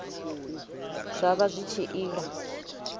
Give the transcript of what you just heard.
zwa vha zwi tshi ila